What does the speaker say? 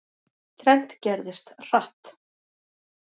Þrennt gerðist, hratt.